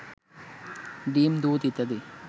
ডিম, দুধ ইত্যাদি